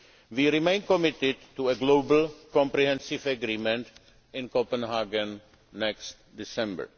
Change. We remain committed to a global, comprehensive agreement in Copenhagen next